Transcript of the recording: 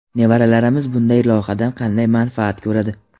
nevaralarimiz bunday loyihadan qanday manfaat ko‘radi.